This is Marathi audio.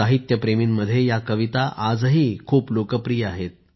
साहित्यप्रेमीमध्ये या कविता आजही खूप लोकप्रिय आहेत